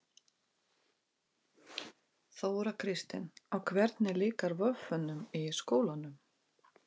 Þóra Kristín: Og hvernig líkar voffunum í skólanum?